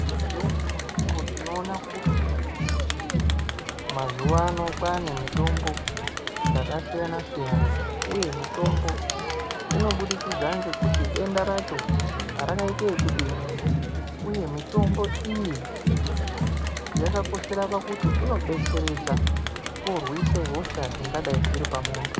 Ngeumweni mukuwo tinoona kuti mazuwano kwane mitombo dzakasiyana siyana uye mitombo inobudikidza ngekuti denda racho rakaite ekudini uye mitombo iyi yakakoshera pakuti inobetseredza kurwise hosha dzingadai dziri pa muntu.